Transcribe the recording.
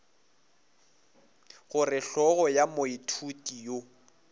gore hlogo ya moithuti yo